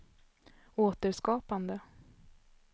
återskapande